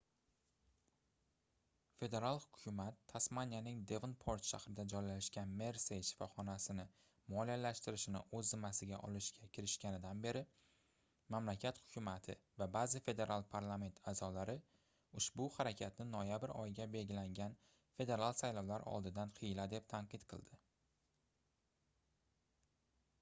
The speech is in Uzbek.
federal hukumat tasmaniyaning devonport shahrida joylashgan mersey shifoxonasini moliyalashtirishni oʻz zimmasiga olishga kirishganidan beri mamlakat hukumati va baʼzi federal parlament aʼzolari ushbu harakatni noyabr oyiga belgilangan federal saylovlar oldidan hiyla deb tanqid qildi